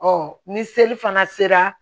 ni seli fana sera